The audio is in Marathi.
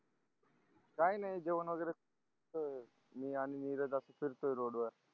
काय नाही जेवण वगेरे मी आणि नीरज असच फिरतोय रोड वर